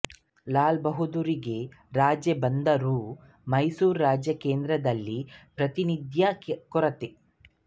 ಲಾಲಬಹಾದ್ದೂರರಿಗೆ ರಾಜ್ಯ ಬಂದರೂ ಮೈಸೂರು ರಾಜ್ಯಕ್ಕೆ ಕೇಂದ್ರದಲ್ಲಿ ಪ್ರಾತಿನಿಧ್ಯದ ಕೊರತೆ